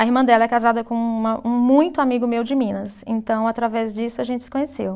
A irmã dela é casada com uma, um muito amigo meu de Minas, então através disso a gente se conheceu.